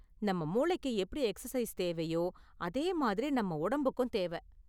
நம்ம மூளைக்கு எப்படி எக்சர்சைஸ் தேவையோ, அதே மாதிரி நம் உடம்புக்கும் தேவை.